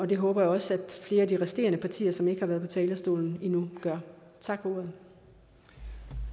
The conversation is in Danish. det håber jeg også at flere af de resterende partier som ikke har været på talerstolen endnu gør tak